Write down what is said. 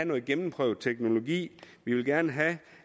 noget gennemprøvet teknologi vi vil gerne have